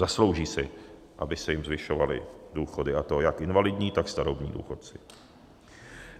Zaslouží si, aby se jim zvyšovaly důchody, a to jak invalidní, tak starobní důchodci.